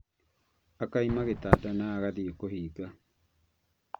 Akauma gĩtanda na agathiĩ kũũhinga